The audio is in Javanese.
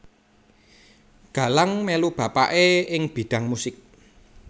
Galang melu bapakè ing bidang musik